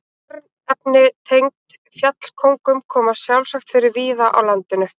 Örnefni tengd fjallkóngum koma sjálfsagt fyrir víða á landinu.